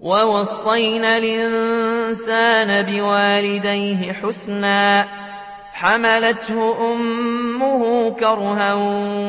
وَوَصَّيْنَا الْإِنسَانَ بِوَالِدَيْهِ إِحْسَانًا ۖ حَمَلَتْهُ أُمُّهُ كُرْهًا